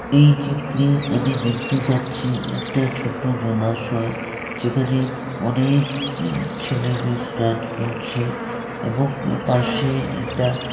এই চিত্রে আমি দেখতে পাচ্ছি একটা ছোট জলাশয় যেখানে অনেক এ-ছেলেমেয়ে স্টাট করছে এবং পাশে এটা--